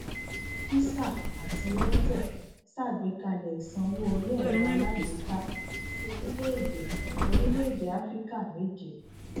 visa àti airtel ṣàgbékalẹ ìsanwó orí ẹrọ alágbèéká sí orílẹèdè orílẹèdè áfíríkà méje